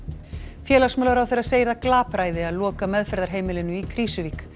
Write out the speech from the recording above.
félagsmálaráðherra segir það glapræði að loka meðferðarheimilinu í Krýsuvík